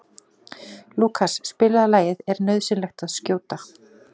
Lúkas, spilaðu lagið „Er nauðsynlegt að skjóta“.